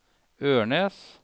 Ørnes